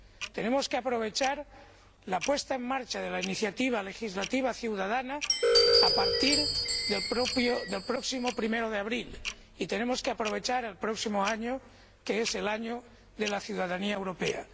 Tenemos que aprovechar la puesta en marcha de la iniciativa legislativa ciudadana a partir del próximo 1 de abril y tenemos que aprovechar el próximo año, que es el Año de la Ciudadanía Europea.